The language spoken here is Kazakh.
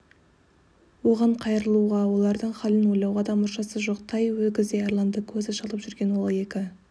оған қайырылуға олардың хәлін ойлауға да мұршасы жоқ тай өгіздей арланды көзі шалып жүрген ол екі